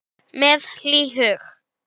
Heru með mér.